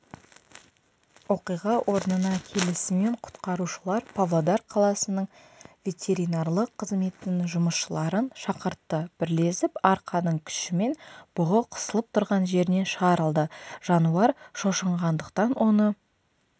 оқиға орнына келісімен құтқарушылар павлодар қаласының ветеринарлық қызметінің жұмысшыларын шақыртты бірлесіп арқанның күшімен бұғы қысылып тұрған жерінен шығарылды жануар шошынғандықтан оны